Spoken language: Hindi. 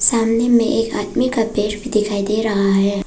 सामने में एक आदमी का पैर भी दिखाई दे रहा है।